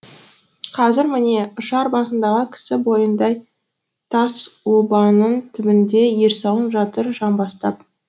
қазір міне ұшар басындағы кісі бойындай тас обаның түбінде ерсауын жатыр жамбастап